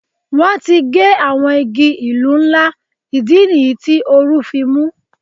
Wọ́n ti gé àwọn igi ìlú ńlá, ìdí nìyí tí oru fi wà.